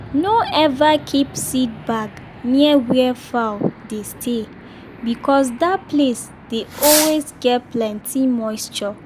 no ever keep seed bag near where fowl dey stay because that place dey always get plenty moisture.